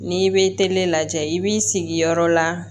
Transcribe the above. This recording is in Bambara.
N'i bɛ tele lajɛ i b'i sigi yɔrɔ la